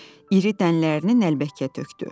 İri dənələrini nəlbəkiyə tökdü.